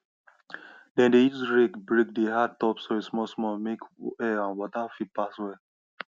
dem dey use rake break di hard top of soil smallsmall make air and water fit pass well